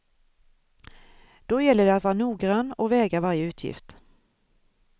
Då gäller det att vara noggrann och väga varje utgift.